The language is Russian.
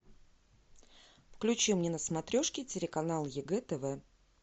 включи мне на смотрешке телеканал егэ тв